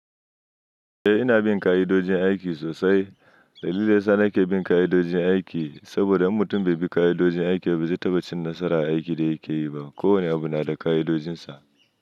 Eh ina bin ka'idojin aiki sosai. Dalilin da yasa nake bin ka'idojin aiki saboda mutum bai bi ka'idojin aiki ba zai taɓa cin nasara a aikin da yake yi ba. Ko wane abu na da ka'idojinsa.